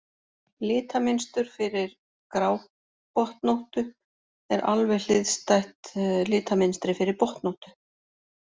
Litamynstur fyrir grábotnóttu er alveg hliðstætt litamynstri fyrir botnóttu.